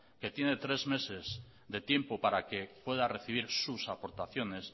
que tiene tres meses de tiempo para que pueda recibir sus aportaciones